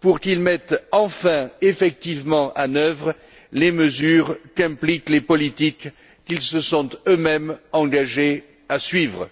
pour qu'ils mettent enfin effectivement en œuvre les mesures qu'impliquent les politiques qu'ils se sont eux mêmes engagés à suivre.